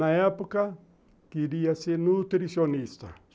Na época, queria ser nutricionista.